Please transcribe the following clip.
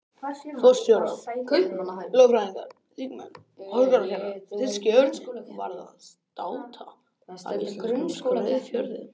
Forstjórar, lögfræðingar, þingmenn og háskólakennarar- þýski örninn varð að státa af íslenskum skrautfjöðrum.